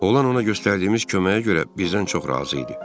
Olan ona göstərdiyimiz köməyə görə bizdən çox razı idi.